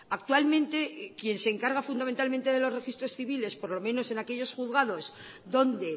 actualmente quien se encarga fundamentalmente de los registros civiles por lo menos en aquellos juzgados donde